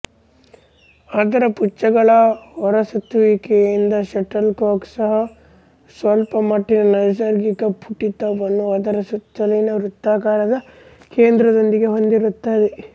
ಅದರ ಪುಚ್ಚಗಳ ಹೊರಸುತ್ತುವಿಕೆಯಿಂದ ಶಟಲ್ ಕಾಕ್ ಸಹ ಸ್ವಲ್ಪಮಟ್ಟಿನ ನೈಸರ್ಗಿಕ ಪುಟಿತವನ್ನು ಅದರ ಸುತ್ತಲಿನ ವೃತ್ತಾಕಾರದ ಕೇಂದ್ರದೊಂದಿಗೆ ಹೊಂದಿರುತ್ತದೆ